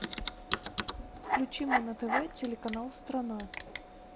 включи мне на тв телеканал страна